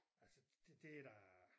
Altså det det da